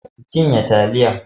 ki cinye taliyan